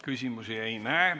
Küsimusi ei ole.